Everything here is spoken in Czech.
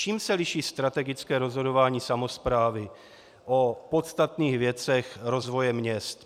Čím se liší strategické rozhodování samosprávy o podstatných věcech rozvoje měst?